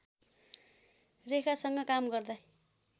रेखासँग काम गर्दै